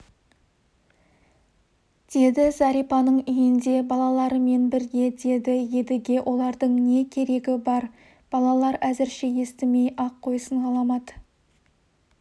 деді зәрипаның үйінде балаларымен бірге деді едіге олардың не керегі бар балалар әзірше естімей-ақ қойсын ғаламат